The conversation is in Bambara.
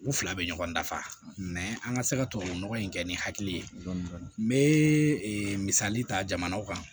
U fila bɛ ɲɔgɔn dafa an ka se ka tubabu nɔgɔ in kɛ ni hakili ye n bɛ misali ta jamanaw kan